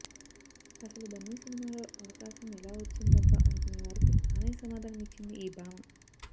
అసలు బన్నీ సినిమాలో అవకాశం ఎలా వచ్చిందబ్బా అనుకునేవారికి తానే సమాధానం ఇచ్చింది ఈ భామ